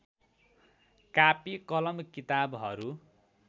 कापी कलम किताबहरू